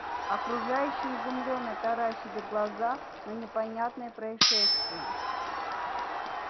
окружающие изумлённо таращили глаза на непонятное происшествие